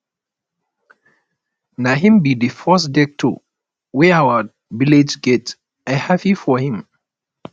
na him be the first doctor wey our village get i happy for am